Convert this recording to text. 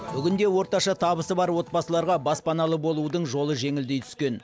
бүгінде орташа табысы бар отбасыларға баспаналы болудың жолы жеңілдей түскен